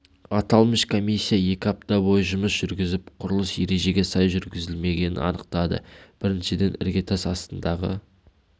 аталмыш комиссия екі апта бойы жұмыс жүргізіп құрылыс ережеге сай жүргізілмегенін анықтады біріншіден іргетас астындағы